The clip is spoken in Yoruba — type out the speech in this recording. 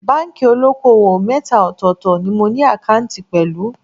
Báńkì olóko-òwò mẹ́ta ọ̀tọ̀ọ̀tọ̀ ni mo ní àkáǹtì pẹ̀lú